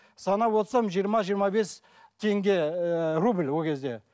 санап отырсам жиырма жиырма бес теңге ііі рубль ол кезде